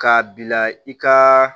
K'a bila i ka